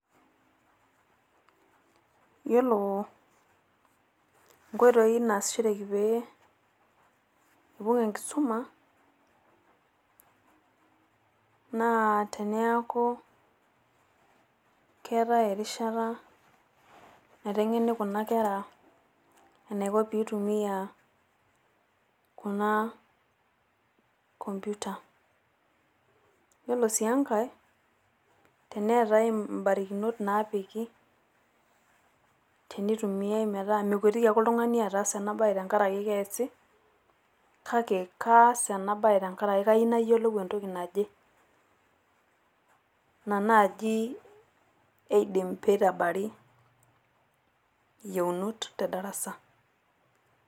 Yiolo enkoitoi naasishoreki pee epoi enkisuma naa teneeku keetae erishata maiteng'eni Kuna Kera metaa keyiolo eneikuni teneitumiai ena komputa. Ore sii Enkae teneetae ebarakinot naapiki, teneitumiai metaa mekuetiki ake oltung'ani aas ena bae tengaraki keesi kayieu naas enabaye tengaraki entoki naje. Ina naaji eidim peitabari eyieunot tedarasa.